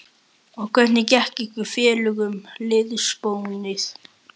Og hvernig gekk ykkur félögum liðsbónin?